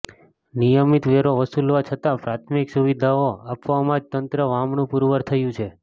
નિયમિત વેરો વસૂલવા છતાં પ્રાથમિક સુવિધાઓ આપવામાં જ તંત્ર વામણું પૂરવાર થયું છે